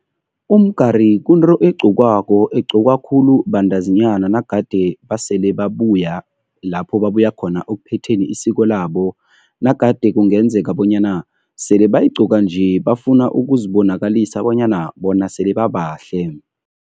Umgari kunto egqokiwako, egqokwa khulu bantazinyana nagade basele babuya lapho babuya khona ekuphetheni isiko labo, nagade kungenzeka bonyana sele bayigqoka nje bafuna ukuzibonakalisa bonyana bona sele babahle.